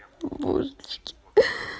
о божечки